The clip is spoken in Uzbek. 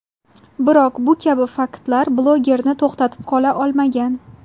Biroq bu kabi faktlar bloglerni to‘xtatib qola olmagan.